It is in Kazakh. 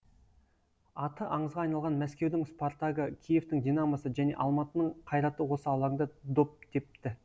аты аңызға айналған мәскеудің спартагы киевтің динамосы және алматының қайраты осы алаңда доп тепті